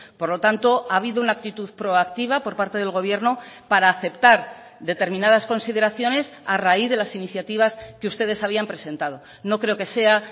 por lo tanto ha habido una actitud proactiva por parte del gobierno para aceptar determinadas consideraciones a raíz de las iniciativas que ustedes habían presentado no creo que sea